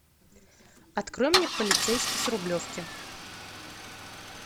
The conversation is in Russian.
открой мне полицейский с рублевки